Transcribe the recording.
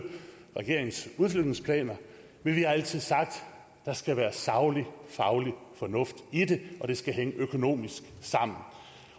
regeringens udflytningsplaner men vi har altid sagt at der skal være saglig og faglig fornuft i det og at det skal hænge økonomisk sammen